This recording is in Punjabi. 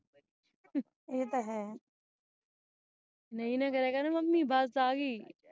ਏਤੇ ਹੈ ਨਹੀਂ ਤੇ ਇੰਨੇ ਕਰਿਆ ਕਰਨਾ mummy bus ਆ ਗਈ